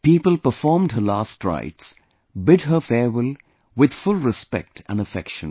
People performed her last rites, bid her farewell with full respect and affection